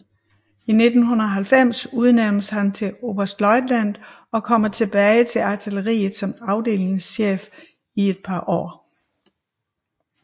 I 1990 udnævnes han til oberstløjtnant og kommer tilbage til artilleriet som afdelingschef i et par år